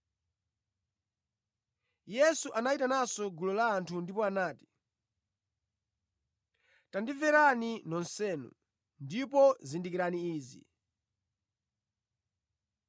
Yesu anayitananso gulu la anthu ndipo anati, “Tandimverani nonsenu, ndipo zindikirani izi.